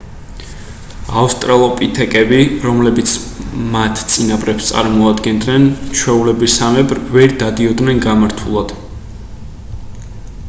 ავსტრალოპითეკები რომლებიც მათ წინაპრებს წარმოადგენდნენ ჩვეულებისამებრ ვერ დადიოდნენ გამართულად